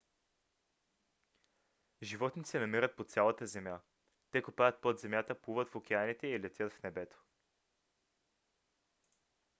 животни се намират по цялата земя. те копаят под земята плуват в океаните и летят в небето